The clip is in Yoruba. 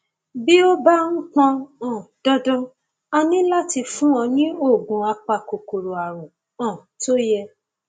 bí ó bá pọn um dandan a ní láti fún ọ ní oògùn apakòkòrò àrùn um tó yẹ